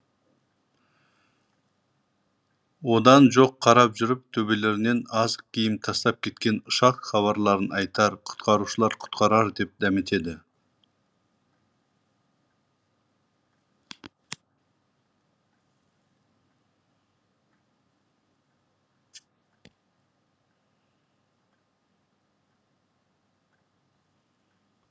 одан жоқ қарап жүріп төбелерінен азық киім тастап кеткен ұшақ хабарларын айтар құтқарушылар құтқарар деп дәметеді